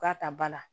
K'a ta ba la